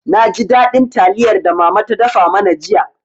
Na ji daɗin taliyar da mama ta dafa mana jiya.